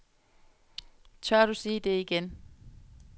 Tør du sige det igen?